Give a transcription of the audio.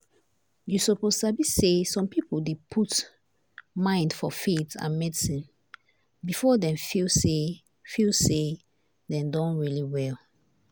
you suppose sabi say some people dey put mind for faith and medicine before dem feel say feel say dem don really well.